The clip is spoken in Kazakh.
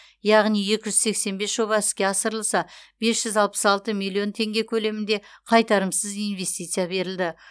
яғни екі жүз сексен бес жоба іске асырылса бес жүз алпыс алты миллион теңге көлемінде қайтарымсыз инвестиция берілді